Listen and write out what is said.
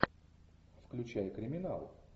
включай криминал